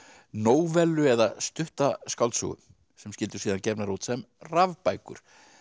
nóvellu eða stutta skáldsögu sem yrðu síðan gefnar út sem rafbækur